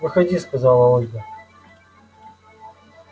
выходи сказала ольга